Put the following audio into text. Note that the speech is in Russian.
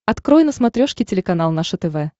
открой на смотрешке телеканал наше тв